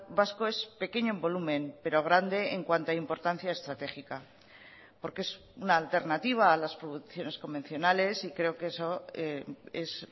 vasco es pequeño en volumen pero grande en cuanto a importancia estratégica porque es una alternativa a las producciones convencionales y creo que eso es